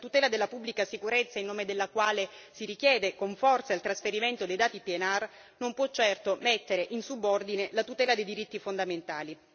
La cautela della pubblica sicurezza in nome della quale si richiede con forza il trasferimento dei dati PNR non può certo mettere in subordine la tutela dei diritti fondamentali.